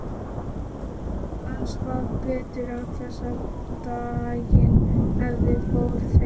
Hann svaf betur en áður og daginn eftir fóru þeir